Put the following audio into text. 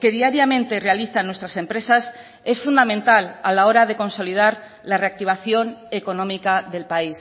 que diariamente realizan nuestras empresas es fundamental a la hora de consolidar la reactivación económica del país